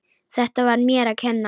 Þetta var mér að kenna.